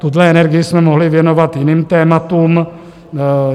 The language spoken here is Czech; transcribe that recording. Tuhle energii jsme mohli věnovat jiným tématům.